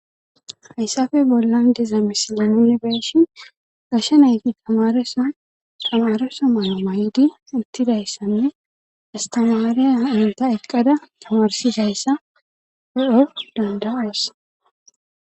Hayssappe bollan deza misilan yunibeeshin gasha nayti tamaresa tamaresa mayo may7idi ittidayssanne istimaariya inta eqqada tamarsidayssa peef dandaasa.